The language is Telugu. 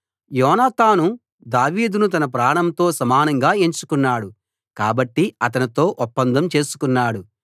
యోనాతాను దావీదును తన ప్రాణంతో సమానంగా ఎంచుకున్నాడు కాబట్టి అతనితో ఒప్పందం చేసుకున్నాడు